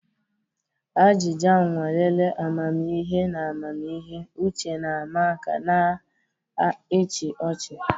Ajịja nwalere amamihe na amamihe, uche na-ama aka na ịchị ọchị.